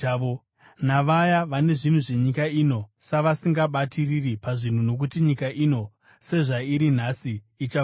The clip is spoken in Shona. navaya vane zvinhu zvenyika ino, savasingabatiriri pazviri. Nokuti nyika ino sezvairi nhasi ichapfuura.